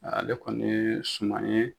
Ale kɔni ye suman ye.